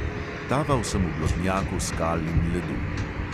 Taval sem v blodnjaku skal in ledu.